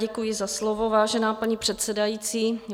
Děkuji za slovo, vážená paní předsedající.